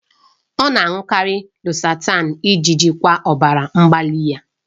Ọ na-aṅụkarị losartan iji jikwaa ọbara mgbali ya.